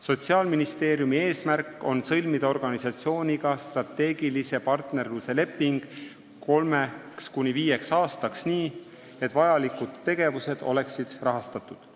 Sotsiaalministeeriumi eesmärk on sõlmida organisatsiooniga strateegilise partnerluse leping kolmeks kuni viieks aastaks nii, et vajalikud tegevused oleksid rahastatud.